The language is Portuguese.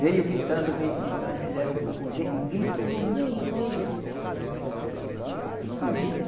Veio gritando, veio gritando, fizeram fogo, ve gritou no meio deles e Não viram na